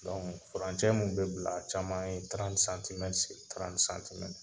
furancɛ mun be bila a caman ye